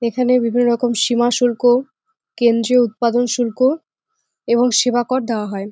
এখানে বিভিন্ন রকম সীমা শুল্ক কেন্দ্রীয় উৎপাদন শুল্ক এবং সেবা কর দাওয়া হয়।